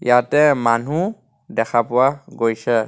ইয়াতে মানহো দেখা পোৱা গৈছে.